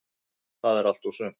Það er allt og sumt.